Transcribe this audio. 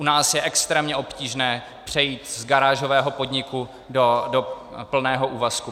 U nás je extrémně obtížné přejít z garážového podniku do plného úvazku.